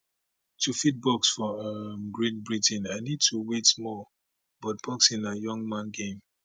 to fit box for um great britain i need to wait small but boxing na young man game